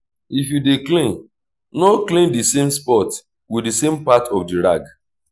if you dey clean no clean the same spot with the same part of the rag